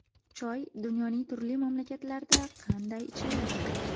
Choy dunyoning turli mamlakatlarida qanday ichiladi?.